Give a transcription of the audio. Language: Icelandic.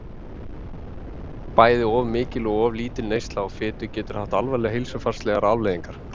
Bæði of mikil og of lítil neysla á fitu getur haft alvarlegar heilsufarslegar afleiðingar.